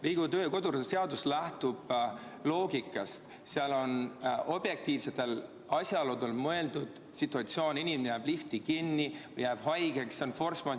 Riigikogu kodu- ja töökorra seadus lähtub loogikast, seal on objektiivsetel asjaoludel mõeldud näiteks sellist situatsiooni, kus inimene jääb lifti kinni, jääb haigeks vms.